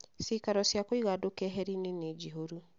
Ciikaro cia kũiga andũ kehari-inĩ nĩ njihũru